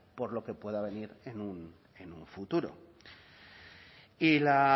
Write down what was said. por lo que pueda venir en un futuro y la